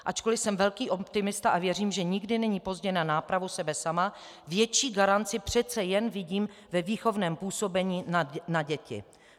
Ačkoli jsem velký optimista a věřím, že nikdy není pozdě na nápravu sebe sama, větší garanci přece jen vidím ve výchovném působení na děti.